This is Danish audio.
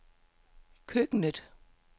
køkkenet